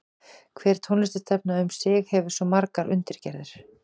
Hver tónlistarstefna um sig hefur svo margar undirgerðir.